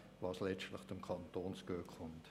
Das kommt letztlich dem Kanton zugute.